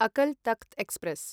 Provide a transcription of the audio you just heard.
Akal Takht express